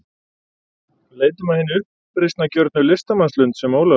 Leitum að hinni uppreisnargjörnu listamannslund, sem Ólafur